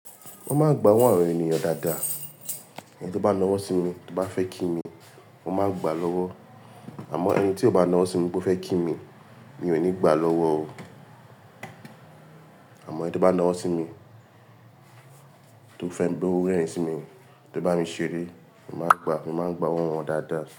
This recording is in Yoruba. Wọ́n máa ń gba owó àwọn ènìyàn dáadáa. Ẹni tí ó bá ná ọwọ́ sí mi tí ó bá fẹ́ kí mi, mo máa ń gba lọ́wọ́. Àmọ́ ẹni tí ó bá ná ọwọ sí mi pó fẹ́ kí mi, mi ò ní gbà lọ́wọ́ o. Àmọ́ ẹni tí ó bá ná owó sí mi tí ó fẹ́ wipé ó rẹ̀rin sí mi, tí ó bá mi ṣeré, mo máa ń gba, mo máa ń gba owó wọn dáadáa.